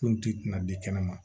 Kun ti kunna di kɛnɛ ma